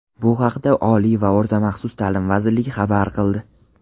Bu haqida Oliy va o‘rta maxsus taʼlim vazirligi xabar qildi.